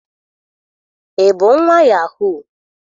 Ị bụ nwa yahoo?